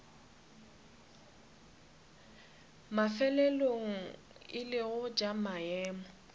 mafelelong e lego tša maemo